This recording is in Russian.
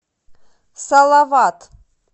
салават